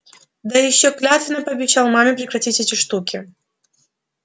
да ещё клятвенно пообещал маме прекратить эти штуки